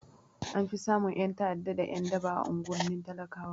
An fi samun ƴan ta'ada da ƴan daba a unguwannin talakawa